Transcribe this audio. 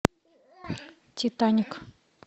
титаник